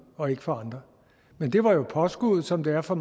og ikke for andre men det var jo påskuddet som det er for